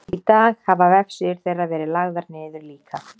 í dag hafa vefsíður þeirra verið lagðar niður líka